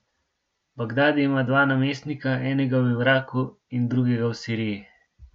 Bagdadi ima dva namestnika, enega v Iraku in drugega v Siriji.